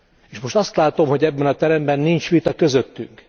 És most azt látom, hogy ebben a teremben nincs vita közöttünk!